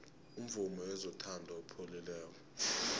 umvumo wezothando upholile